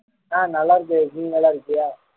ஆஹ் நல்லா இருக்கேன் நீ நல்லா இருக்கியா